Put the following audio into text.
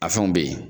A fɛnw be yen